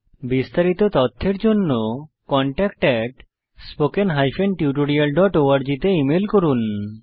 বিস্তারিত তথ্যের জন্য contactspoken tutorialorg তে ইমেল করুন